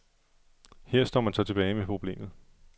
Her står man så tilbage med problemet.